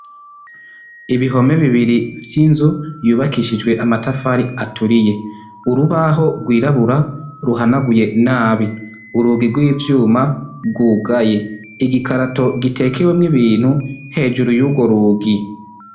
Ibihome bibiri vy'inzu yubakishijwe amatafari aturiye; Urubaho rw'irabura ruhanaguye nabi; urugi gw'ivyma rutugaye; igikarato gitekewemw'ibintu hejuru y'ugworugi.